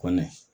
Kɔni